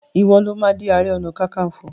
iwọ ló má dì aré ọnà kankanfo!